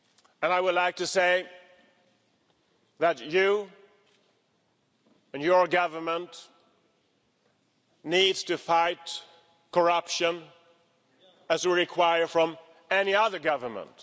And I would like to say that you and your government need to fight corruption, as we require from any other government.